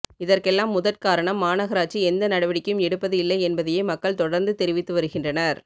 இதற்கெல்லாம் முதற்காரணம் மாநகராட்சி எந்த நடவடிக்கையும் எடுப்பது இல்லை என்பதையே மக்கள் தொடர்ந்து தெரிவித்து வருகின்றனர்